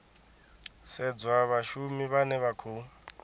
sedzwa vhashumi vhane vha khou